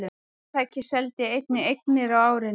Fyrirtækið seldi einnig eignir á árinu